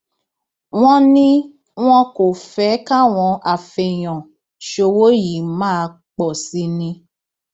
wọn ní wọn kò fẹ káwọn afẹèyàn ṣòwò yìí máa pọ sí i ni